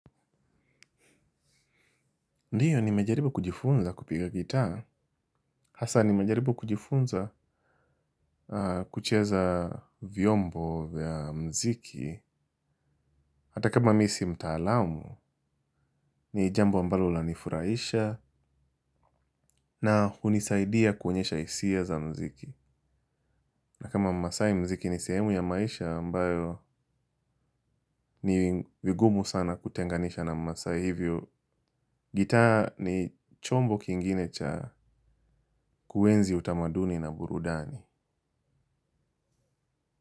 Ndiyo nimejaribu kujifunza kupiga gitaa. Hasa ni mejaribu kujifunza kucheza vyombo vya muziki. Hata kama mi si mtaalamu, ni jambo ambalo lanifurahisha na hunisaidia kuonyesha hisia za muziki. Na kama mmasai muziki ni sehemu ya maisha ambayo ni vigumu sana kutenganisha na mmasai hivyo. Gitaa ni chombo kingine cha kuenzi utamaduni na burudani.